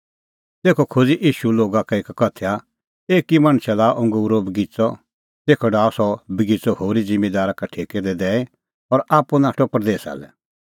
तेखअ खोज़अ ईशू लोगा का एक उदाहरण एकी मणछै लाअ अंगूरो बगिच़अ तेखअ डाहअ सह बगिच़अ होरी ज़िम्मींदारा का ठेकै दी दैई और आप्पू नाठअ परदेसा लै